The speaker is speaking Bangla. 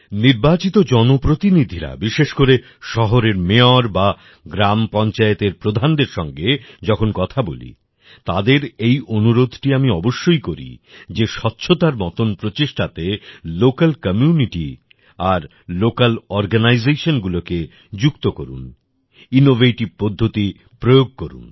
নির্বাচিত জনপ্রতিনিধিরা বিশেষ করে শহরের মায়োর বা গ্রামের পঞ্চায়েত প্রধানদের সঙ্গে যখন কথা বলি তাদের এই অনুরোধটি আমি অবশ্যই করি যে স্বচ্ছতার মতন প্রচেষ্টাতে লোকাল কমিউনিটি আর লোকাল অরগানাইজেশন গুলিকে যুক্ত করুক ইনোভেটিভ পদ্ধতি প্রয়োগ করুক